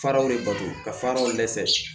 Faraw de bato ka faraw dɛsɛ